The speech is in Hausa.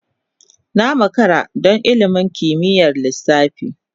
Na makara don ilimin kimiyyar lissafi.